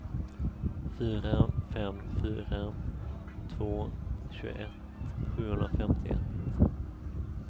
fyra fem fyra två tjugoett sjuhundrafemtioett